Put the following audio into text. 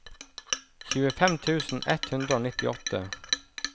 tjuefem tusen ett hundre og nittiåtte